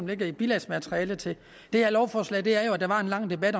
ligger i bilagsmaterialet til det her lovforslag der var jo en lang debat